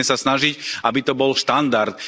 Musíme sa snažiť, aby to bol štandard.